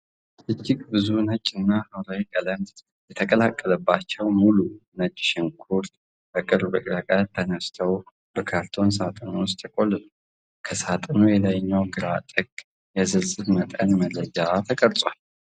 እጅግ ብዙ ነጭ እና ሐምራዊ ቀለም የተቀላቀለባቸው ሙሉ **ነጭ ሽንኩርቶች** በቅርብ ርቀት ተነስተው በካርቶን ሳጥን ውስጥ ተቆልለዋል። ከሳጥኑ የላይኛው ግራ ጥግ የዝርዝር መጠን መረጃ ተቀርጿል።